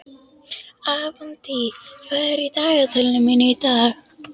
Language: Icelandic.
Avantí, hvað er í dagatalinu mínu í dag?